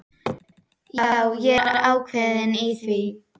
Já, ég er ákveðinn í því.